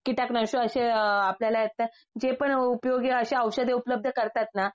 कीटक नाशक असे आपल्याला त्या जे पण उपयोगी अशी ओषधे उपलब्ध करतात ना